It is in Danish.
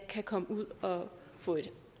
kan komme ud og få et